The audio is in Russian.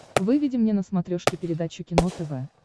выведи мне на смотрешке передачу кино тв